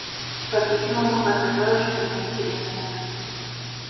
по-видимому готовилось что-то интересное